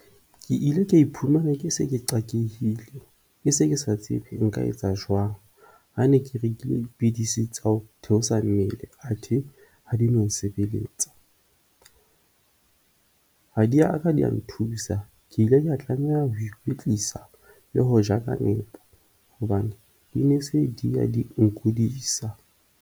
Ke ile ka iphumana ke se ke qakehile, ke se ke sa tsebe nka etsa jwang ha ne ke rekile dipidisi tsa ho theosa mmele athe ha di no nsebelletsa. Ha di a ka di a nthusa, ke ile ka tlameha ho ikwetlisa le ho ja ka nepo hobane di ne se di ya di nkudisa.